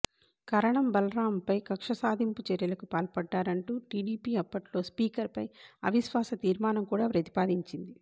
కరణం బలరాంపై కక్ష సాధింపు చర్యలకు పాల్పడ్డారంటూ టిడిపి అప్పట్లో స్పీకర్పై అవిశ్వాస తీర్మానం కూడా ప్రతిపాదించింది